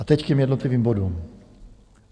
A teď k těm jednotlivým bodům.